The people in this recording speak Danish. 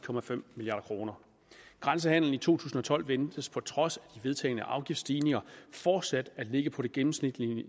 milliard kroner grænsehandelen i to tusind og tolv ventes på trods af vedtagne afgiftsstigninger fortsat at ligge på det gennemsnitlige